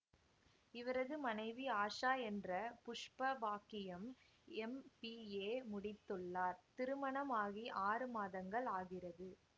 இவரது மனைவி ஆஷா என்ற புஷ்ப பாக்கியம் எம்பிஏமுடித்துள்ளார் திருமணமாகி ஆறு மாதங்கள் ஆகிறது